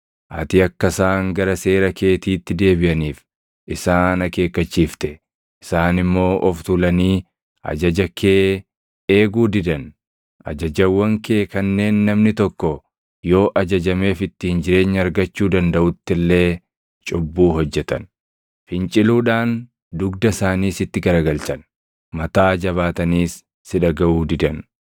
“Ati akka isaan gara seera keetiitti deebiʼaniif isaan akeekkachiifte; isaan immoo of tuulanii ajaja kee eeguu didan. Ajajawwan kee kanneen ‘namni tokko yoo ajajameef ittiin jireenya argachuu dandaʼutti illee’ cubbuu hojjetan. Finciluudhaan dugda isaanii sitti garagalchan; mataa jabaataniis si dhagaʼu didan.